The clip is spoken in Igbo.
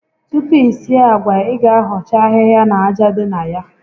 Tupu i sie àgwà, ị ga ahọcha ahịhịa na aja dị na ya